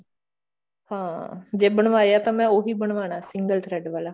ਹਾਂ ਜੇ ਬਣਵਾਇਆ ਤਾਂ ਮੈਂ ਉਹੀ ਬਨਵਾਉਣਾ ਸੀ single thread ਵਾਲਾ